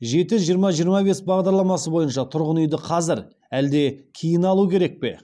жеті жиырма жиырма бес бағдарламасы бойынша тұрғын үйді қазір әлде кейін алу керек пе